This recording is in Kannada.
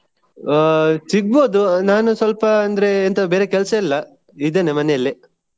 ಆ ಸಿಗ್ಬೋದು ನಾನು ಸ್ವಲ್ಪ ಅಂದ್ರೆ ಎಂತ ಬೇರೆ ಕೆಲ್ಸ ಇಲ್ಲಾ ಇದ್ದೇನೆ ಮನೆಯಲ್ಲೇ.